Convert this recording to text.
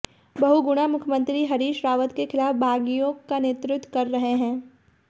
बहुगुणा मुख्यमंत्री हरीश रावत के खिलाफ बागियों का नेतृत्व कर रहे हैं